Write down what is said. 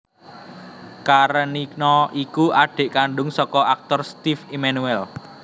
Karenina iku adhik kandhung saka aktor Steve Emmanuel